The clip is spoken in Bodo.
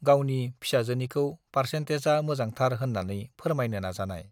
गावनि फिसाजोनिखौ पार्चेन्टेजआ मोजांथार होन्नानै फोरमायनो नाजानाय